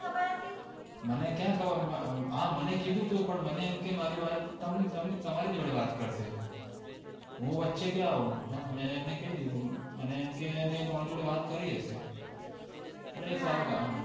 મને ક્યાં ખબર કીધું તું પણ મને એમ કે મારી વાઇફ તમ તમ તમારી જોડે વાત કર શે હું વચ્ચે ક્યાં આવુ મેં અને કય દીધું આમ કે અને તમારી જોડે વાત કરી હશે અરે સાવ ગાંડી